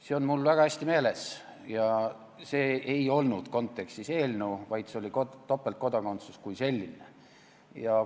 See on mul väga hästi meeles ja see ei olnud eelnõu kontekstis, vaid see oli topeltkodakondsus kui selline.